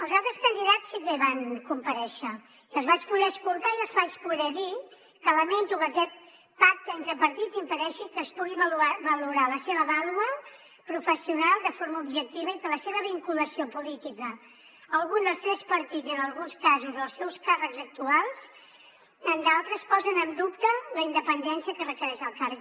els altres candidats sí que hi van comparèixer i els vaig voler escoltar i els vaig poder dir que lamento que aquest pacte entre partits impedeixi que es pugui valorar la seva vàlua professional de forma objectiva i que la seva vinculació política a algun dels tres partits en alguns casos als seus càrrecs actuals en d’altres posen en dubte la independència que requereix el càrrec